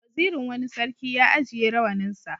Wazirin wani sarki ya ajiye rawaninsa.